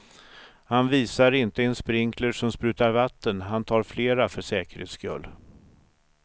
Han visar inte en sprinkler som sprutar vatten, han tar flera för säkerhets skull.